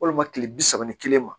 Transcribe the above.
Walima kile bi saba ni kelen ma